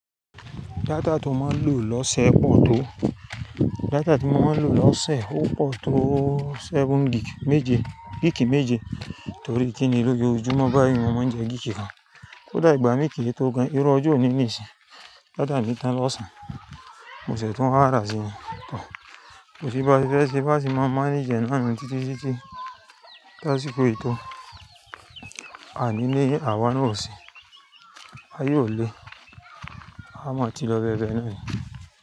Data tí mo máa ń lò lọ́sẹ̀ pọ̀ tó, data tí mo máa ń lò lọ́sẹ̀ ó pọ̀ tó seven gig méje, gig méje. Torí kíni lójo ojúmọ́ báyìí mo máa ń jẹ gig kan. Koda igba mí kí i tó gan, irú ọjọ́ ò ní ní ìsìn, data mi tán lọ́ṣàn. Mo ṣẹ̀ tún wa ra sí i tọ̀. Èsì bá ti fẹ́ ṣe bá ti máa mánage ẹ náà ni títí sí títí ti asíkò ètò àní ní àwa na ọ̀se, aye o lé, a má ti lọ bẹ bẹ́ẹ náà ni.